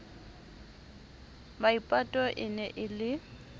maipato e ne e le